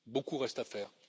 Beaucoup reste à faire.